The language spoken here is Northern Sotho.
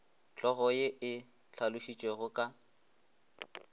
hlogo ye e hlalošitšwego ka